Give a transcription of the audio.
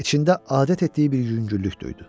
İçində adət etdiyi bir yüngüllük duydu.